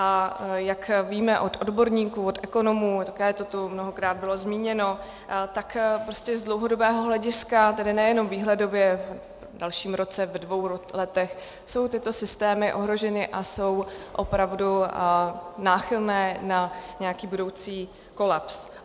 A jak víme od odborníků, od ekonomů, také to tu mnohokrát bylo zmíněno, tak prostě z dlouhodobého hlediska, tedy nejenom výhledově v dalším roce, ve dvou letech, jsou tyto systémy ohroženy a jsou opravdu náchylné na nějaký budoucí kolaps.